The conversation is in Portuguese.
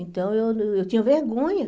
Então, eu eu tinha vergonha.